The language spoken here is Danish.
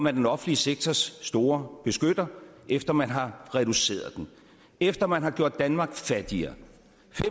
er den offentlige sektors store beskytter efter man har reduceret den efter man har gjort danmark fattigere